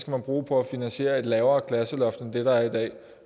man bruge på at finansiere et lavere klasseloft end det der er i dag